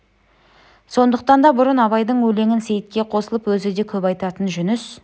сондықтан да бұрын абайдың өлеңін сейітке қосылып өзі де көп айтатын жүніс